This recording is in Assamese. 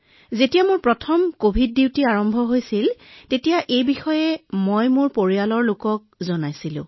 যেতিয়া মই প্ৰথম কভিড কৰ্তব্যত যোগদান কৰিছিলো মই প্ৰথমে মোৰ পৰিয়ালৰ সদস্যসকলক এই কভিড কৰ্তব্যৰ বিষয়ে জনাইছিলো